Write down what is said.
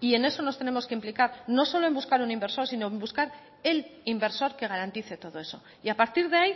y en eso nos tenemos que implicar no solo en buscar un inversor sino en buscar el inversor que garantice todo eso y a partir de ahí